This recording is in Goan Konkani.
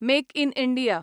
make in India